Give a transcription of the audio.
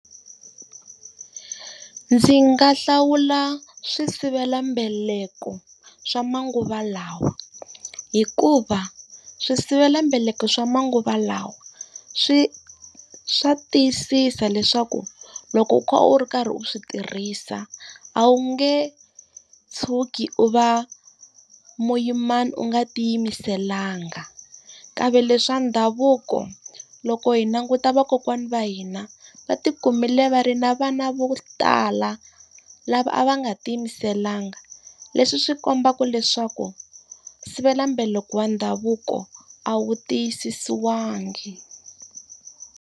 Ndzi nga hlawula swisivelambaleko swa manguva lawa hikuva swisivelambaleko swa manguva lawa swa tiyisisa leswaku loko u kha u ri karhi u swi tirhisa, a wu nge tshuki u va muyimana u nga tiyimiselanga. Kambe leswi swa ndhavuko, loko hi languta vakokwana va hina va ti kumile va ri na vana vo tala, lava a va nga tiyimiselanga. Leswi swi kombaka leswaku swisivelambaleko wa ndhavuko a wu tiyisisiwangi.